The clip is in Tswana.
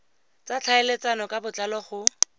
tsa tlhaeletsano ka botlalo go